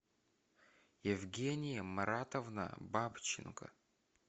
евгения маратовна бабченко